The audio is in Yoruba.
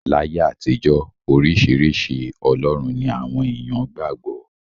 Láyé àtijọ́, oríṣiríṣi ọlọ́run ni àwọn èèyàn qgbà gbọ́.